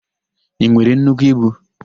I nwere nnukwu ibu?